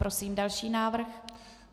Prosím další návrh.